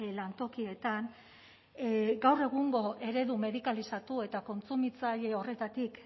lantokietan gaur egungo eredu medikalizatu eta kontsumitzaile horretatik